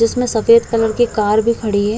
जिसमे सफ़ेद कलर की कार भी खड़ी हुई है।